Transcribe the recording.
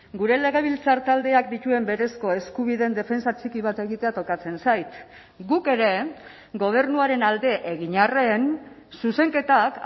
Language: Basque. gure legebiltzar taldeak dituen berezko eskubideen defentsa txiki bat egitea tokatzen zait guk ere gobernuaren alde egin arren zuzenketak